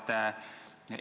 Lugupeetud proua president!